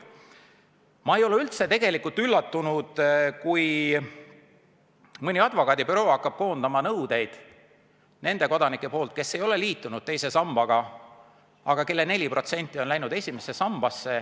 Ma ei ole üldse tegelikult üllatunud, kui mõni advokaadibüroo hakkab koondama nende kodanike nõudeid, kes ei ole liitunud teise sambaga, aga kelle 4% on läinud esimesse sambasse.